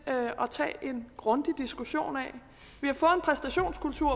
at tage en grundig diskussion af en præstationskultur